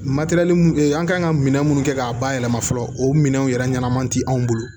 an kan ka minɛn minnu kɛ k'a bayɛlɛma fɔlɔ o minɛnw yɛrɛ ɲɛnama tɛ anw bolo